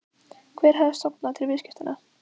Hver hafi stofnað til viðskiptanna?